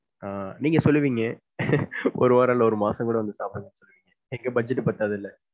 ஆஹ் நீங்க சொல்லுவீங்க. ஒரு வாரம் இல்ல, ஒரு மாசம் கூட வந்து சாப்பிடுங்க. எங்க budget பத்தாதுல.